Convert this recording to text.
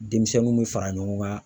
Denmisɛnninw bɛ fara ɲɔgɔn kan.